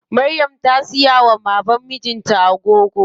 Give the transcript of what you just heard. Maryam ta siya wa baban mijin ta agogo.